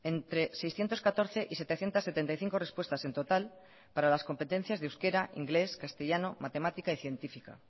entre seiscientos catorce y setecientos setenta y cinco respuestas en total para las competencias de euskera inglés castellano matemática y científica